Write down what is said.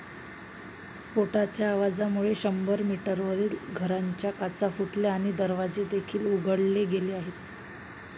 स्फोटाच्या आवाजामुळे शंभर मीटरवरील घरांच्या काचा फुटल्या आणि दरवाजेदेखील उखडले गेले आहेत.